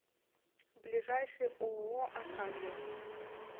ближайший ооо аркадия